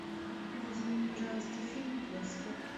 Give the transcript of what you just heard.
найди мне пожалуйста фильм после